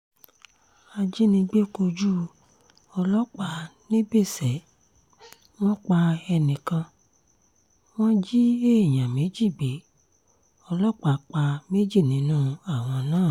ajínigbé kojú ọlọ́pàá nìbéṣẹ́ wọn pa ẹnì kan wọ́n jí èèyàn méjì gbé ọlọ́pàá pa méjì nínú àwọn náà